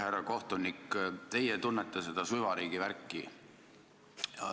Härra kohtunik, teie tunnete seda süvariigi värki.